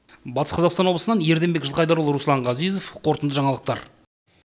батыс қазақстан облысынан ерденбек жылқайдарұлы руслан ғазизов қорытынды жаңалықтар